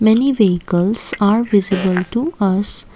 many vehicles are visible to us.